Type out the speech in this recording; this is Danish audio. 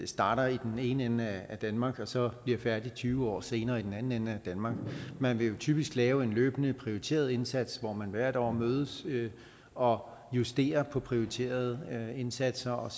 starter i den ene ende af danmark og så bliver færdig tyve år senere i den anden ende af danmark man vil jo typisk lave en løbende prioriteret indsats hvor man hvert år mødes og justerer på prioriterede indsatser og